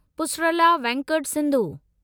Pusarla Venkata Sindhu